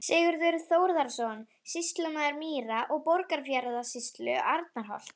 Sigurður Þórðarson, sýslumaður Mýra- og Borgarfjarðarsýslu, Arnarholti.